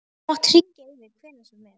Þú mátt hringja í mig hvenær sem er.